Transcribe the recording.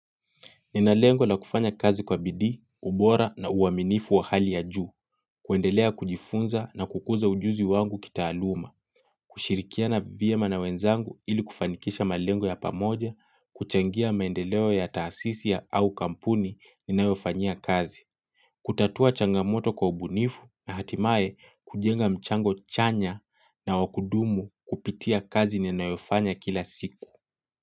Nina lengo na kufanya kazi kwa bidii, ubora na uaminifu wa hali ya juu, kuendelea kujifunza na kukuza ujuzi wangu kitaaluma, kushirikia vyema na wenzangu ili kufanikisha malengo ya pamoja, kuchangia maendeleo ya taasisi au kampuni ninayofanyia kazi, kutatua changamoto kwa ubunifu na hatimae kujenga mchango chanya na wa kudumu kupitia kazi ninayofanya kila siku.